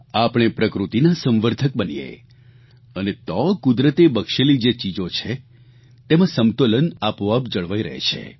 આપણે પ્રકૃતિના સંવર્ધક બનીએ અને તો કુદરતે બક્ષેલી જે ચીજો છે તેમાં સમતોલન આપોઆપ જળવાઇ રહે છે